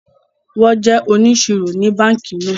Wón jé òníṣírò ní bánkì náà